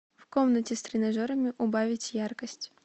в комнате с тренажерами убавить яркость